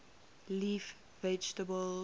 leaf vegetables